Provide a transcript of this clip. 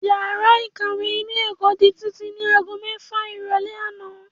Yàrá ìkàwé ilé ẹ̀kọ́ di títì ní ago mẹ́fà ìrọ̀lẹ́ àná